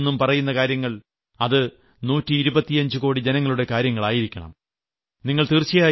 ചുവപ്പുകോട്ടയിൽനിന്നും പറയുന്ന കാര്യങ്ങൾ അത് നൂറ്റി ഇരുപത്തിയഞ്ച് കോടി ജനങ്ങളുടെ കാര്യങ്ങൾ ആയിരിക്കണം